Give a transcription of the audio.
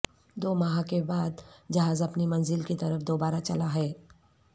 دوماہ کے بعد جہاز اپنی منزل کی طرف دوبارہ چلا ہے